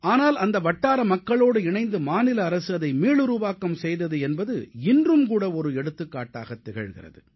ஆனால் அந்த வட்டார மக்களோடு இணைந்து மாநில அரசு அதை புனரமைத்தது என்பது இன்றும் கூட ஒரு எடுத்துக்காட்டாகத் திகழ்கிறது